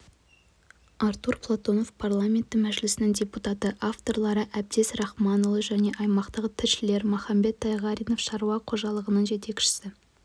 артур платонов парламенті мәжілісінің депутаты авторлары әбдез рахманұлы және аймақтағы тілшілер махамбет тайғаринов шаруа қожалығының жетекшісі